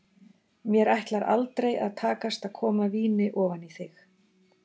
Mér ætlar aldrei að takast að koma víni ofan í þig.